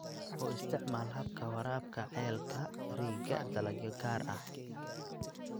U isticmaal habka waraabka ceelka riigga dalagyo gaar ah.